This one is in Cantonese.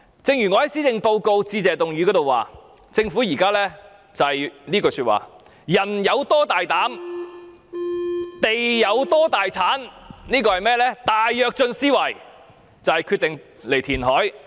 正如我在施政報告致謝議案的辯論中指出，政府現時的想法是"人有多大膽，地有多大產"，以大躍進思維決定填海。